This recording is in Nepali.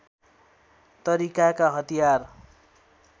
तरिकाका हतियार